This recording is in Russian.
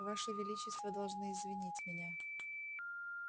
ваше величество должны извинить меня